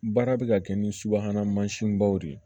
Baara bɛ ka kɛ ni subahana mansinbaw de ye